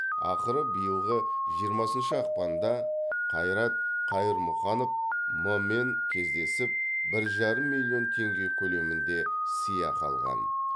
ақыры биылғы жиырмасыншы ақпанда қайрат қайырмұханов м мен кездесіп бір жарым миллион теңге көлемінде сыйақы алған